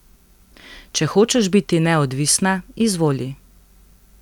Če hočeš biti neodvisna, izvoli.